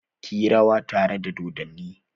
Ki yi rawa tare da dodonnin!